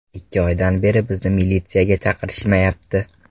Ikki oydan beri bizni militsiyaga chaqirishmayapti.